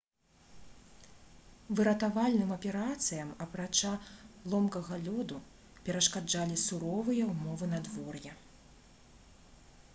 выратавальным аперацыям апрача ломкага лёду перашкаджалі суровыя ўмовы надвор'я